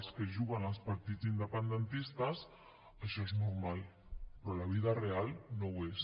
els que juguen als partits independentistes això és normal però a la vida real no ho és